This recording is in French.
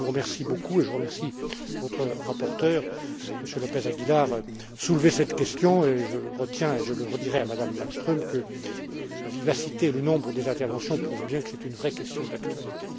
En tout cas, je vous remercie beaucoup et je remercie votre rapporteur, Monsieur López Aguilar, d'avoir soulevé cette question et je retiens, et je le redirai à Mme Malmström, que la vivacité et le nombre des interventions prouvent bien que c'est une vraie question d'actualité.